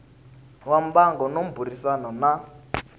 wa mbango no burisana na